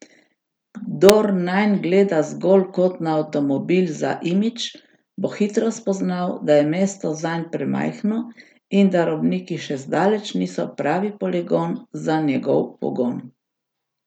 Kdor nanj gleda zgolj kot na avtomobil za imidž, bo hitro spoznal, da je mesto zanj premajhno in da robniki še zdaleč niso pravi poligon za njegov pogon.